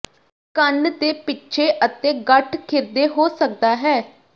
ਕੰਨ ਦੇ ਪਿੱਛੇ ਅਤੇ ਗੱਠ ਖਿਰਦੇ ਹੋ ਸਕਦਾ ਹੈ